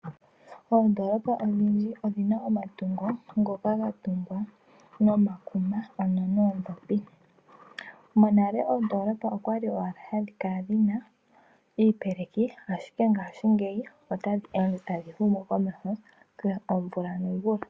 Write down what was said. Oondoolopa ndhoka oonene odhi na omatungo ga tungwa nomakuma, ano noondhopi. ndhono hadhi kala dhi na iipeleki, ashike ngashingeyi tadhi kala tadhi humu komeho omvula nomvula.